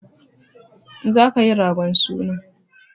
Za ka yi ragon suna!